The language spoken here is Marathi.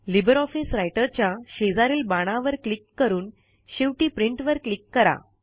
लिबर ऑफिस राइटर च्या शेजारील बाणावर क्लिक करून शेवटी प्रिंट वर क्लिक करा